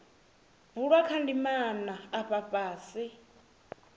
bulwa kha ndimana afha fhasi